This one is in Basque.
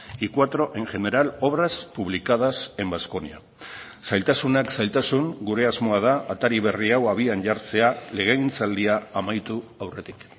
y cuatro en general obras publicadas en vasconia zailtasunak zailtasun gure asmoa da atari berri hau abian jartzea legegintzaldia amaitu aurretik